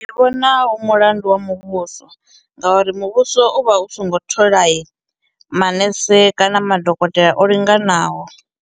Ndi vhona u mulandu wa muvhuso ngauri muvhuso u vha u songo tholai manese kana madokotela o linganaho.